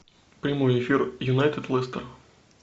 прямой эфир юнайтед лестер